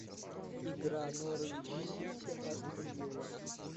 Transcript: игра норвич сити астон вилла